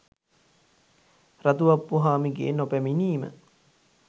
රතු අප්පුහාමිගේ නොපැමිණීම